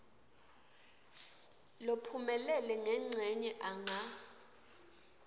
lophumelele ngencenye anga